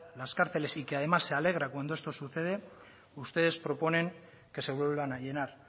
las cárceles y que además se alegra cuando esto sucede ustedes proponen que se vuelvan a llenar